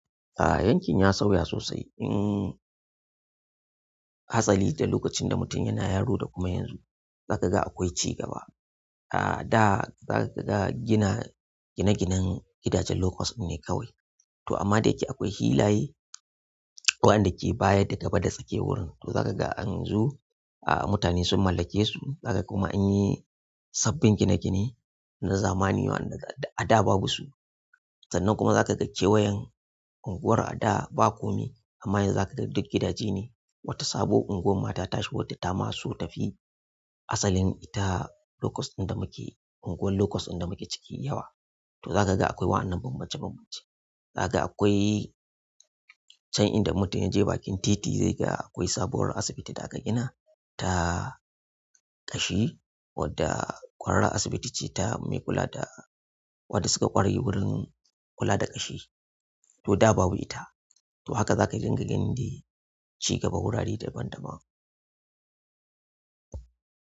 A'a yankin ya sauya sosai. Hmm, hasali da lokacin da mutum yana yaro da kuma yanzu za ka ga akwai cigaba. A'a da za ka ga gina gine-ginen gidajen lokos ne kawai to amma da yake akwai hilaye waɗanda ke baya da gaba da suke wurin to za ka ga an zo a mutane sun mallake su, za ka kuma an yi sabbin gine-gine na zamani waɗanda a da babu su. Sannan kuma za ka ga kewayen unguwar a da ba kome amma yanzu za ka ga duk gidaje ne wata sabuwar unguwar mata ta shigo wadda ta ma so ta fi asalin ita lokos ɗin da muke unguwar lokos ɗin da muke ciki yawa. To za ka ga akwai wa'annan bambance bambance. Zaka ga akwai can inda in mutum ya je bakin titi zai ga akwai sabuwar asibiti da aka gina ta ƙashi wadda ƙwararran asibiti ce ta mai kula da waɗanda suka ƙware wurin kula da ƙashi to da babu ita. To haka za ka dinga gani dai cigaban wurare daban daban.